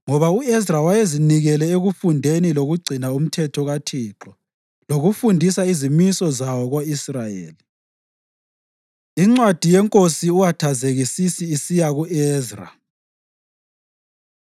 Ngoba u-Ezra wayezinikele ekufundeni lokugcina uMthetho kaThixo lokufundisa izimiso zawo ko-Israyeli. Incwadi YeNkosi U-Athazekisisi Isiya Ku-Ezra